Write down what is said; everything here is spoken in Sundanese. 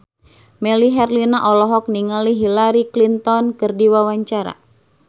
Melly Herlina olohok ningali Hillary Clinton keur diwawancara